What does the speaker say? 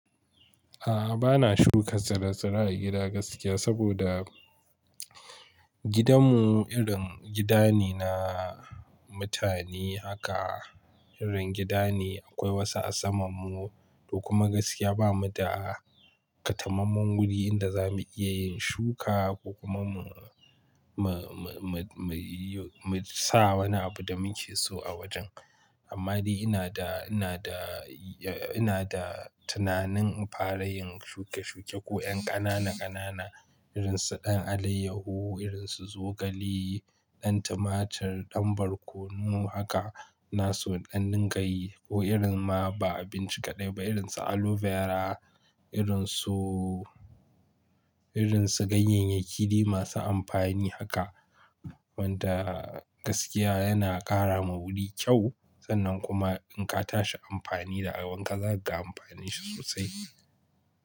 A'a, ba na shuka tsire-tsire a gida gaskiya, saboda gidanmu irin gida ne na mutane haka. Irin gida ne akwai wasu a samanmu, to kuma gaskiya bamu da ƙatamammen wuri inda za mu iya yin shuka ko kuma mu, mu, mu, mu yi, mu sa wani abu da muke so a wajen. Amma dai ina da, ina da, ina da tunanin fara yin shuke-shuke ko 'yan ƙanana-ƙanana irin su ɗan alayyahu, irin su zogale, ɗan tumatur, ɗan barkono haka. Na so in ɗan dingayi ko irin ma ba abinci kaɗai ba irin su aloe vera, irin su, irin su ganyenyaki dai masu amfani haka. Wanda gaskiya yana ƙara ma wuri kyau sannan kuma in ka tashi amfani da a wanka zaka ga amfani shi sosai.